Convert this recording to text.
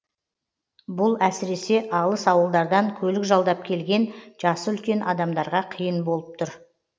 бұл әсіресе алыс ауылдардан көлік жалдап келген жасы үлкен адамдарға қиын болып тұр